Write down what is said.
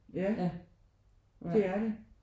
Ja det er det